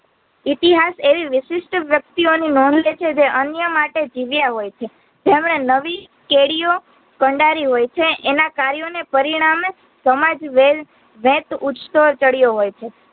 ઇતિહાસ એવી વિશિષ્ઠ વ્યક્તિયોની નોંદ લેછે જે અન્ય માટે જીવ્યા હોયછે તેમણે નવી કેડિયો કંડારી હોયછે એના કાર્યોને પરિણામે સમાજ